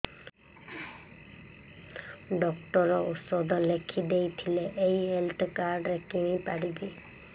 doctor ଔଷଧ ଲେଖିଦେଇଥିଲେ ଏଇ ହେଲ୍ଥ କାର୍ଡ ରେ କିଣିପାରିବି